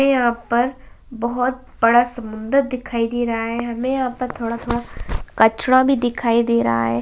हमें यहाँ पर बहुत बड़ा समुंदर दिखाई दे रहा है हमे यहाँ पर थोड़ा थोड़ा कचरा भी दिखाई दे रहा हैं।